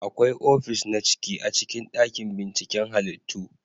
Akwai ofis na ciki a cikin dakin binciken halittu